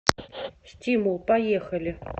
стимул поехали